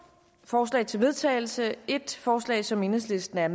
forslag til vedtagelse der et forslag som enhedslisten er